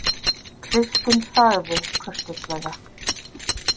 Kristín þagði kurteislega.